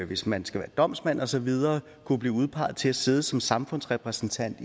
hvis man skal være domsmand og så videre så man blive udpeget til at sidde som samfundsrepræsentant